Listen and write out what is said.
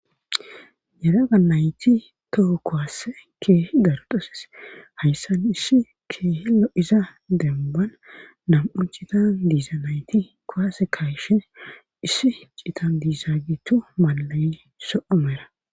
Yeraga nayti toho kowaasse keehi dardoses hayssan issi keehillo iza demban nam7u citan diiza nayti kowase kayshe issi citan diizagitu malayi so7omera